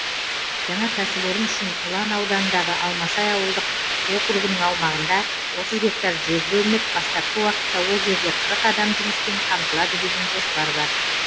жаңа кәсіпорын үшін ұлан ауданындағы алмасай ауылдық округінің аумағында отыз гектар жер бөлініп бастапқы уақытта ол жерде қырық адам жұмыспен қамтылады деген жоспар бар